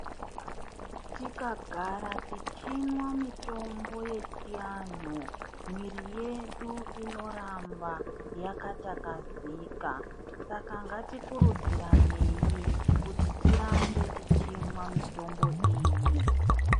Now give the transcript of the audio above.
Tikagara tichinwa mutombo wechivantu muviri wedu unogara yakatakazeka saka ngati kuridzirenei kuti tirambe tichimwa mutombo iyi.